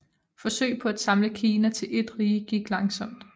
Forsøg på at samle Kina til et rige gik langsomt